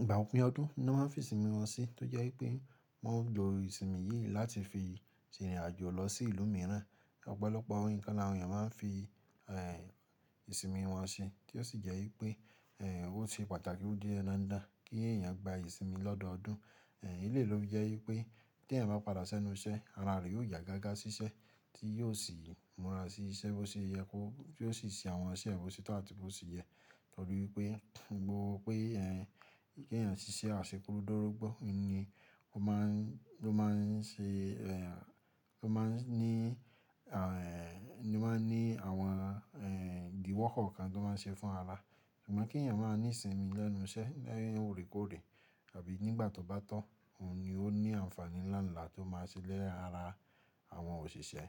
ìgbà òpin ọdún ni wọ́n fi ìsinmi wọn sí tó jẹ́ wípé wọ́n gbo ìsinmi yìí láti fi ṣe ìrìn àjò lọ sí ìlú mìíràn. Ọ̀pọ̀lọpọ̀ orín kan ni àwọn èèyàn máa ń fi ẹ̀ ìsinmi wọn ṣe, tí ó sì jẹ́ wípé ẹ̀ ó ṣe pàtàkì o di dandan dá kí èèyàn gba ìsinmi lọ́dọọdún. Ẹ̀ eléyìí ló fi jẹ́ wípé tí ẹ̀yàn bá padà sẹ́nu iṣẹ́ ara rẹ yóò ya gágá sí iṣẹ́ tí yóò sì múra sí iṣẹ́ bó ṣe yẹ kó, tí ó sì ṣe àwọn iṣẹ́ ẹ́ bo ṣe tọ atí bó ṣe yẹ. Nítorí pé gbogbo pé ẹ̀ kí èyàn ṣíṣẹ́ àṣẹ́kù dorogbó ní ni ó má ń ló má ń ṣe ẹ̀ ló má ń ní à ẹ̀ ló má ń ní àwọn ẹ̀ ìdíwọ́kọ̀ kọọkan tó má n ṣe fún ara. Ṣùgbọ́n kí ẹ̀yàn máa ní ìsinmi lẹ́nu iṣẹ́ lẹ́yìn orekoore àbí nígbà tó bá tọ́, òun ni ó ní àǹfààní ńlá ńlá tó máa ṣe lara àwọn òṣìṣẹ́.